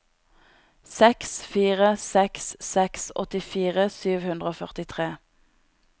seks fire seks seks åttifire sju hundre og førtitre